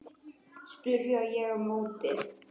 spyr ég á móti.